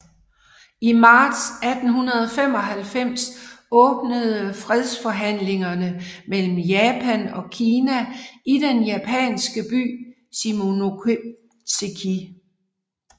I marts 1895 åbnede fredsforhandlingerne mellem Japan og Kina i den japanske by Shimonoseki